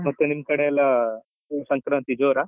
ಮತ್ತೆ ನಿಮ್ಕಡೆ ಎಲ್ಲ ಸಂಕ್ರಾಂತಿ ಜೋರ?